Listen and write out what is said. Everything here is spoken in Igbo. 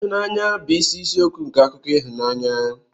Ịhụnanya bụ isi isiokwu nke akụkọ ịhụnanya.